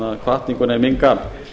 hvatninguna í minn garð